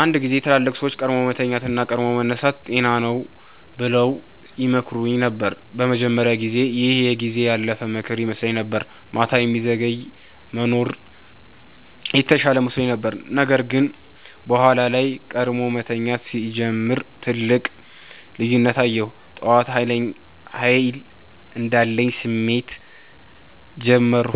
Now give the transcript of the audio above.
አንድ ጊዜ ትላልቅ ሰዎች “ቀድሞ መተኛት እና ቀድሞ መነሳት ጤና ነው” ብለው ይመክሩኝ ነበር። በመጀመሪያ ጊዜ ይህ የጊዜ ያለፈ ምክር ይመስለኝ ነበር፤ ማታ የሚዘገይ መኖር የተሻለ መስሎኝ ነበር። ነገር ግን በኋላ ላይ ቀድሞ መተኛት ሲጀምር ትልቅ ልዩነት አየሁ። ጠዋት ኃይል እንዳለኝ ስሜት ጀመርሁ